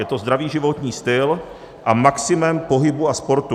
Je to zdravý životní styl a maximum pohybu a sportu.